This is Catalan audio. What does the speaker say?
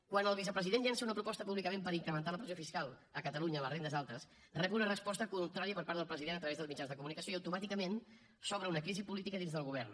quan el vicepresident llança una proposta públicament per incrementar la pressió fiscal a catalunya a les rendes altes rep una resposta contrària per part del president a través dels mitjans de comunicació i automàticament s’obre una crisi política dins del govern